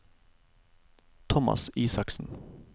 Thomas Isaksen